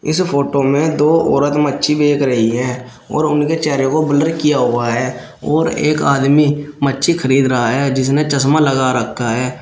इस फोटो में दो औरत मच्छी बेक रही है और उनके चेहरे को ब्लर किया हुआ है और एक आदमी मच्छी खरीद रहा है जिसने चश्मा लगा रखा है।